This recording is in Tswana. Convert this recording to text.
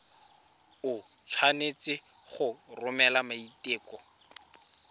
o tshwanetse go romela maiteko